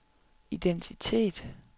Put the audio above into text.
identitet